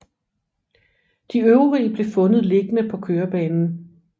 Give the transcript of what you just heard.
De øvrige blev fundet liggende på kørebanen